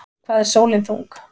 Hvað er sólin þung?